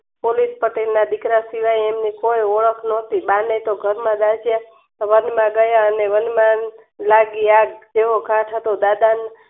પટેલના દીકરા એમને કોઈ ઓળખ નોતી બાને તો વનમાં ગયા અને વનમાળી હતો દાદાની